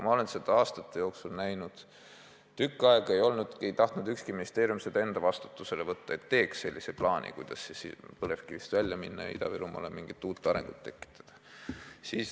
Ma olen aastate jooksul näinud, kuidas tükk aega ei tahtnud ükski ministeerium vastutust võtta, et teeks sellise plaani, kuidas põlevkivitööstusest väljuda ja Ida-Virumaale uut arengut võimaldada.